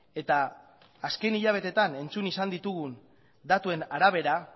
eta azken hilabeteetan entzun izan ditugun datuen arabera